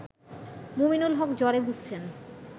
মুমিনুল হক জ্বরে ভুগছেন